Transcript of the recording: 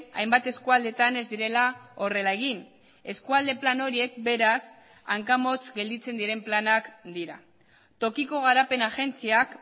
hainbat eskualdetan ez direla horrela egin eskualde plan horiek beraz hankamotz gelditzen diren planak dira tokiko garapen agentziak